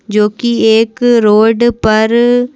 जो कि एक रोड पर--